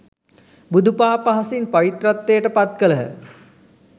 බුදු පා පහසින් පවිත්‍රත්වයට පත් කළහ